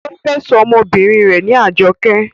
ó fẹ́ sọ ọmọbìnrin rẹ̀ ní Ajoké